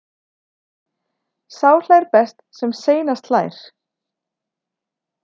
Sá hlær best sem seinast hlær.